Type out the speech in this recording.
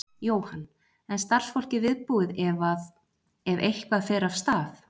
Jóhann: En starfsfólkið viðbúið ef að, ef eitthvað fer af stað?